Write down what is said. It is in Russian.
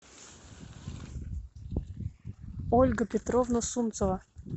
ольга петровна сунцева